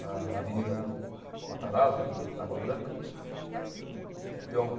Na na Avenida Matarazzo, ali, na Água Branca. Eh